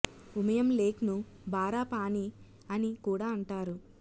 Umiam lake ను బారా పాణి అని కూడా అంటారు